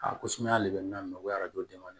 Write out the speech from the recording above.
Aa ko sumaya de bɛ n na o